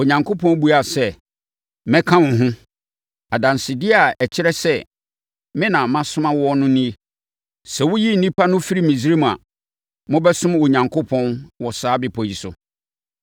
Onyankopɔn buaa no sɛ, “Mɛka wo ho. Adansedeɛ a ɛkyerɛ sɛ me na masoma wo no nie. Sɛ woyi nnipa no firi Misraim a, mobɛsom Onyankopɔn wɔ saa bepɔ yi so.”